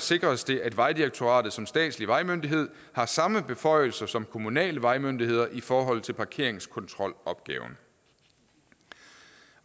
sikres det at vejdirektoratet som statslig vejmyndighed har samme beføjelser som kommunale vejmyndigheder i forhold til parkeringskontrolopgaven